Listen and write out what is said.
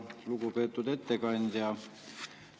Lugupeetud ettekandja!